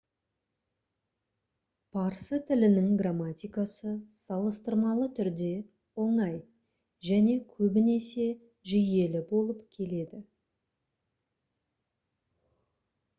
парсы тілінің грамматикасы салыстырмалы түрде оңай және көбінесе жүйелі болып келеді